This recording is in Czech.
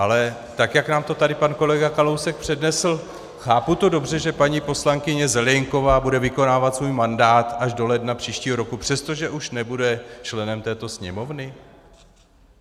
Ale tak jak nám to tady pan kolega Kalousek přednesl - chápu to dobře, že paní poslankyně Zelienková bude vykonávat svůj mandát až do ledna příštího roku, přestože už nebude členem této Sněmovny?